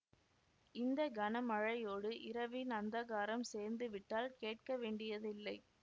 இந்த கன மழையோடு இரவின் அந்தகாரம் சேர்ந்து விட்டால் கேட்கவேண்டியதில்லை